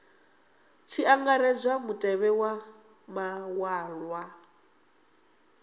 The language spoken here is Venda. tshi angaredzwa mutevhe wa maṅwalwa